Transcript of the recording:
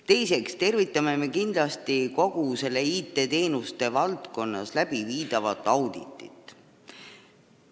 Teiseks tervitame me kindlasti seda IT-teenuste valdkonnas tehtavat auditit.